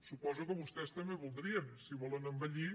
suposo que vostès també ho voldrien si volen envellir